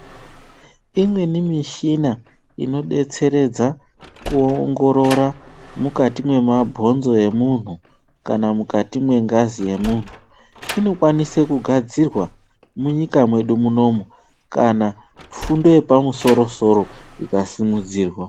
Imweni mishina inobetseresza kuongorora mukati mwemabhonzo emuntu kana mungazi inokwanisa kugadzirwa munyika mwedu munomu kana fundo yepamusoro- soro ikasimudzirwa.